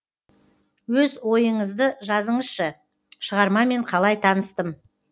өз ойыңызды жазыңызшы шығармамен қалай таныстым